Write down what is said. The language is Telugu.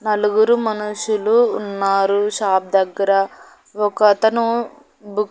నలుగురు మనుషులు ఉన్నారు షాప్ దగ్గర ఒకతను బుక్ --